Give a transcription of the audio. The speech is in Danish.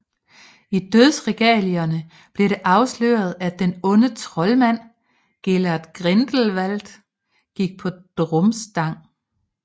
I Dødsregalierne bliver det afsløret at den onde troldmand Gellert Grindelwald gik på Durmstrang